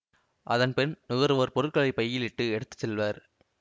அதன் பின் நுகர்வோர் பொருட்களை பையில் இட்டு எடுத்து செல்வர்